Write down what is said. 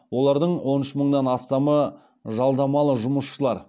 олардың он үш мыңнан астамы жалдамалы жұмысшылар